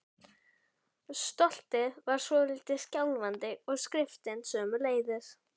Stoltið var svolítið skjálfandi og skriftin sömuleiðis.